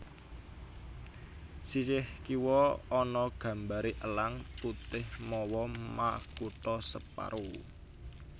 Sisih kiwa ana gambaré Elang Putih mawa makutha separo